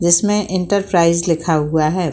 जिसमे एंटरप्राइज लिखा हुआ है।